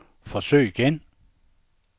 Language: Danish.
forsøg igen